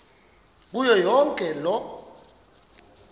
kuyo yonke loo